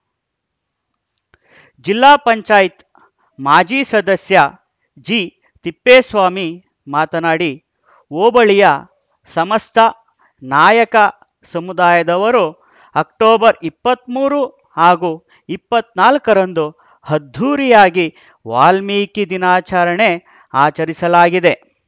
ಜಿಲ್ಲಾ ಪಂಚಾಯತ್ ಮಾಜಿ ಸದಸ್ಯ ಜಿತಿಪ್ಪೇಸ್ವಾಮಿ ಮಾತನಾಡಿ ಹೋಬಳಿಯ ಸಮಸ್ತ ನಾಯಕ ಸಮುದಾಯದವರು ಅಕ್ಟೋಬರ್ ಇಪ್ಪತ್ತ್ ಮೂರು ಹಾಗೂ ಇಪ್ಪತ್ತ್ ನಾಲ್ಕರಂದು ಅದ್ಧೂರಿಯಾಗಿ ವಾಲ್ಮೀಕಿ ದಿನಾಚರಣೆ ಆಚರಿಸಲಾಗಿದೆ